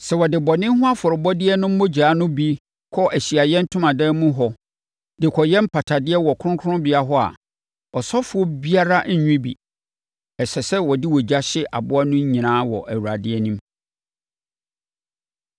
Sɛ wɔde bɔne ho afɔrebɔdeɛ no mogya no bi kɔ Ahyiaeɛ Ntomadan mu hɔ de kɔyɛ mpatadeɛ wɔ kronkronbea hɔ a, ɔsɔfoɔ biara renwe bi. Ɛsɛ sɛ wɔde ogya hye aboa no nyinaa wɔ Awurade anim.